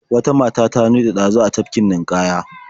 Wata mata ta nutse ɗazu a tafkin ninƙaya.